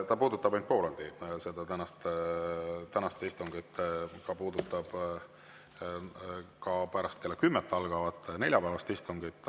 See puudutab ainult pooleldi tänast istungit, see puudutab ka pärast kella kümmet algavat neljapäevast istungit.